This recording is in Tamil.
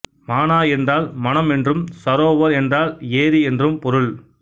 மானா என்றால் மனம் என்றும் சரோவர் என்றால் ஏாி என்றும் பொருள்